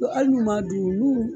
hali n'o m'a dun n'u